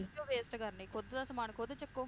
ਕਿਉਂ waste ਕਰਨੇ ਖੁਦ ਦਾ ਸਮਾਂ ਖੁਦ ਚੱਕੋ